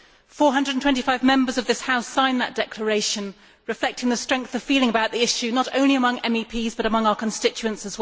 Four hundred and twenty five Members of this House signed that declaration, reflecting the strength of feeling about the issue, not only among MEPs but also among our constituents.